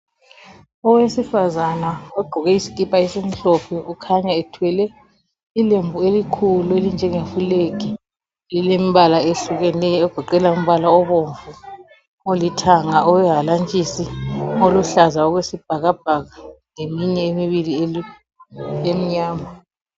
Owesifazana ogqoke isikipa esimhlophe ukhanya ethwele ilembu elikhulu elinjengeflag. Lilembala ehlukeneyo egoqela umbala obomvu, olithanga, owehalantshisi, oluhlaza okwesibhakabhaka leminye emibili emnyama.